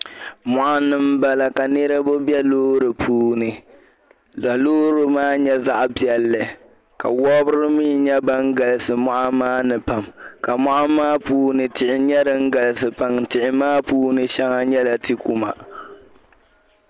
Moɣ'ni m-bala ka niriba be loori puuni ka loori maa nyɛ zaɣ'piɛlli ka wabiri mii nyɛ ban galisi mɔɣu maa ni pam ka mɔɣu maa puuni tihi nyɛla din galisi pam tihi maa puuni shɛŋa nyɛla ti'kuma